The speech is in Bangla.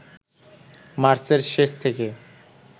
মার্চের শেষ থেকে